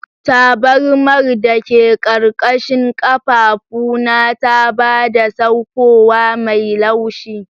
Tabarmar da ke ƙarƙashin ƙafafuna ta ba da saukowa mai laushi.